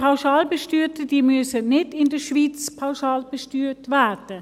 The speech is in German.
Die Pauschalbesteuerten müssen nicht in der Schweiz pauschalbesteuert werden.